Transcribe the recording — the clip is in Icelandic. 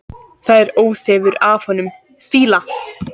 Það er óþefur af honum fýla!